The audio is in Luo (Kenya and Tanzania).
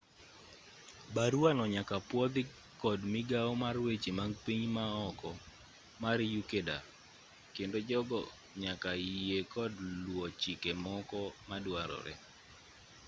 baruano nyaka pwodhi kod migawo mar weche mag pinje maoko mar ecuador kendo jogo nyaka yie kod luwo chike moko maduarore